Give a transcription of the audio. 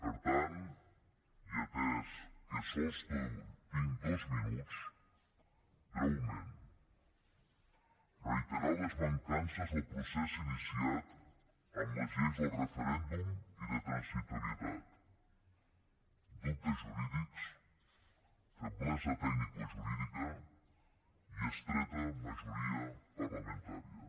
per tant i atès que sols tinc dos minuts breument reiterar les mancances del procés iniciat amb les lleis del referèndum i de transitorietat dubtes jurídics feblesa tecnicojurídica i estreta majoria parlamentària